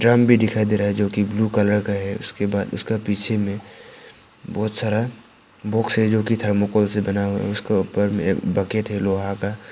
Drum भी दिखाई दे रहा है जो कि ब्लू कलर का है उसके बाद उसका पीछे में बहुत सारा बॉक्स है जो कि थर्मोकोल से बना है उसको ऊपर में एक बकेट है लोहा का।